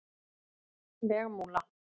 Vegmúla